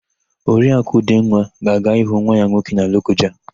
Oriakụ Udenwa ga-aga ịhụ nwa ya nwoke na Lokoja.